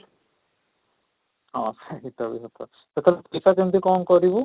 ହଁ, ସେଇଟା ବି କଥା ସେଇଟା ସେଇଟା କେମିତି କଣ କରିବୁ?